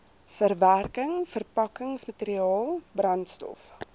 verwerking verpakkingsmateriaal brandstof